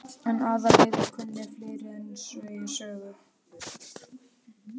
En Aðalheiður kunni fleira en segja sögur.